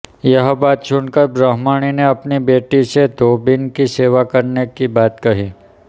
यह बात सुनकर ब्रह्मणि ने अपनी बेटी से धोबिन कि सेवा करने कि बात कही